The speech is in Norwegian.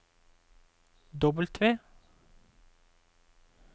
W